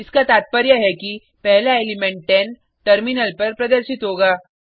इसका तात्पर्य है कि पहला एलिमेंट 10 टर्मिनल पर प्रदर्शित होगा